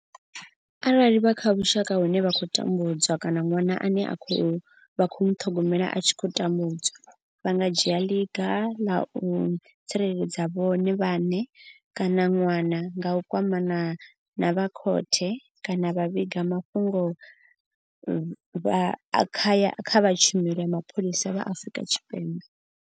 Arali vha kha vhusha ka vhune vha tambudzwa kana ṅwana ane vha khou muṱhogomela a tshi khou tambudzwa, vha nga dzhia ḽiga vha tsireledza vhone vhaṋe kana ṅwana nga u kwamana na vha khothe kana vha vhiga mafhungo kha vha tshumelo ya mapholisa vha Afrika Tshipembe.